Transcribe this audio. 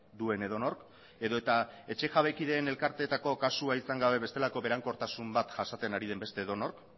duen edonork edota etxe jabekideen elkarteetako kasua izan gabe besteetako berankortasun bat jasaten ari den beste edonork